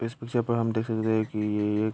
इस विषय पर हम देख सकते है कि एक --